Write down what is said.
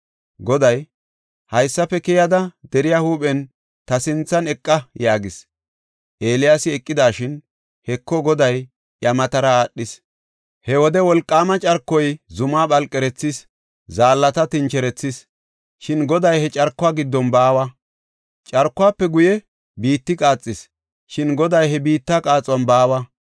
Goday, “Haysafe keyada deriya huuphen ta sinthan eqa” yaagis. Eeliyaasi eqidashin, Heko, Goday iya matara aadhis. He wode wolqaama carkoy zumaa phalqerethis; zaallata tincherethis; shin Goday he carkuwa giddon baawa. Carkuwafe guye biitti qaaxis; shin Goday he biitta qaaxuwan baawa.